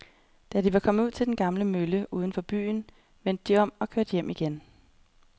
Da de var kommet ud til den gamle mølle uden for byen, vendte de om og kørte hjem igen.